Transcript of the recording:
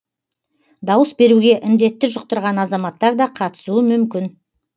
дауыс беруге індетті жұқтырған азаматтар да қатысуы мүмкін